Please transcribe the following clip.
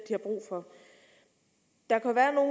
der